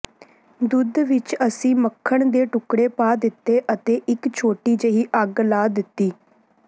ਦੁੱਧ ਵਿਚ ਅਸੀਂ ਮੱਖਣ ਦੇ ਟੁਕੜੇ ਪਾ ਦਿੱਤੇ ਅਤੇ ਇਕ ਛੋਟੀ ਜਿਹੀ ਅੱਗ ਲਾ ਦਿੱਤੀ